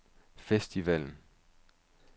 festivalen